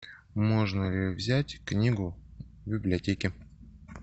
можно ли взять книгу в библиотеке